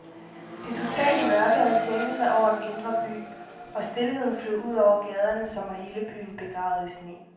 Det totale mørke havde sænket sig over den indre by, og stilheden flød ud over gaderne, som var hele byen begravet i sne.